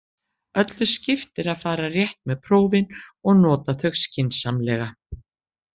Öllu skiptir að fara rétt með prófin og nota þau skynsamlega.